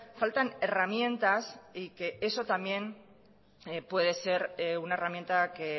faltan herramientas y que eso también puede ser una herramienta que